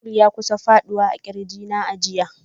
Tuwul ya kusa ya fadi daga kirginta a jiya.